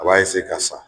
A b'a ka sa